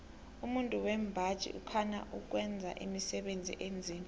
umuntu wembaji ukhana ukwenza imisebenzi enzima